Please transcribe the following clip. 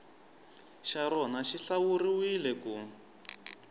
xa rona xi hlawuriwile ku